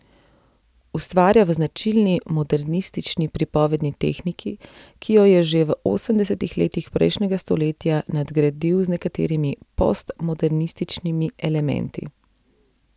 Ustvarja v značilni modernistični pripovedni tehniki, ki jo je že v osemdesetih letih prejšnjega stoletja nadgradil z nekaterimi postmodernističnimi elementi.